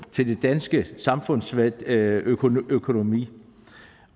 til den danske samfundsøkonomi